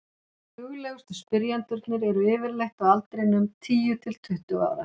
duglegustu spyrjendurnir eru yfirleitt á aldrinum tíu til tuttugu ára